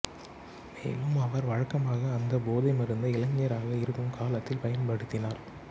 மேலும் அவர் வழக்கமாக அந்தப் போதை மருந்தை இளைஞராக இருக்கும் காலத்தில் பயன்படுத்தினார்